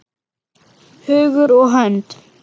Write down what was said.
Hugur og hönd.